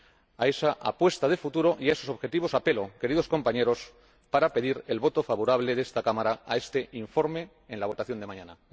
A esa apuesta de futuro y a esos objetivos apelo, queridos compañeros, para pedir el voto favorable de esta Cámara a este informe en la votación de mañana.